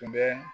Bɛ